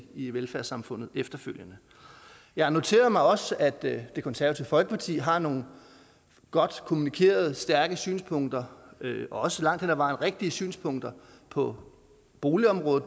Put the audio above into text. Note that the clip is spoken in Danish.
i velfærdssamfundet efterfølgende jeg noterede mig også at det konservative folkeparti har nogle godt kommunikerede stærke synspunkter også langt hen ad vejen rigtige synspunkter på bolig og